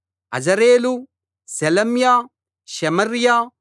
Azarel Shelemiah Shemariah